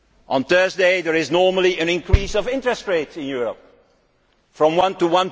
On Thursday there will probably be an increase in interest rates in Europe from 1 to